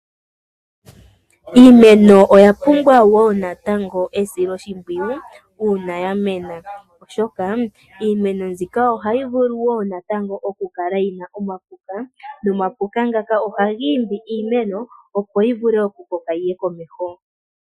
Iimeno oya pumbwa wo natango esiloshimpwiyu uuna ya mena oshoka iimeno myika oha yi vulu wo natango okukala yi na omapuka nomapuka ngaka oha giimbi iimeno opo yi vule okukoka yiye komeho.